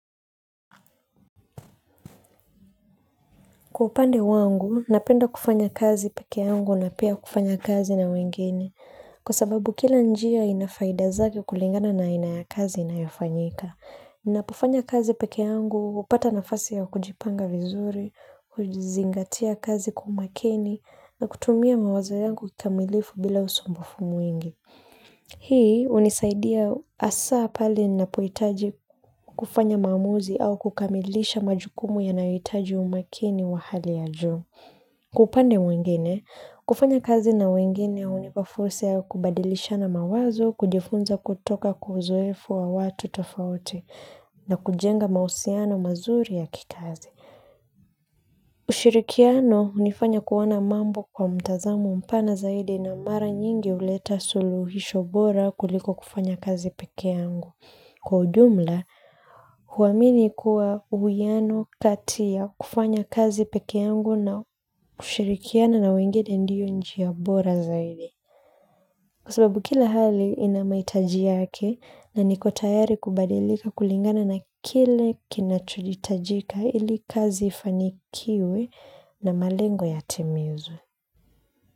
Kwa upande wangu, napenda kufanya kazi pekee yangu na pia kufanya kazi na wengine. Kwa sababu kila njia ina faida zake kulingana na aina ya kazi inayofanyika. Napo fanya kazi pekee yangu, hupata nafasi ya kujipanga vizuri, kujizingatia kazi kwa umakini, na kutumia mawazo yangu kikamilifu bila usombofu mwingi. Hii unisaidia hasa pale ninapohitaji kufanya maamuzi au kukamilisha majukumu yanayohitaji umakini wa hali ya juu. Kwa upande mwingine, kufanya kazi na wengine hunipa fursa ya kubadilisha na mawazo kujifunza kutoka kwa uzuefu wa watu tofauti na kujenga mahusiana mazuri ya kikazi. Ushirikiano hunifanya kuona mambo kwa mtazamo mpana zaidi na mara nyingi huleta suluhisho bora kuliko kufanya kazi pekee yangu. Kwa ujumla huamini kuwa uhusiano katia ya kufanya kazi pekee yangu na kushirikiana na wengine ndio njia bora zaidi. Kwa sababu kila hali ina mahitaji yake na niko tayari kubadilika kulingana na kile kinacho hitajika ili kazi ifanikiwe na malengo yatimizwe.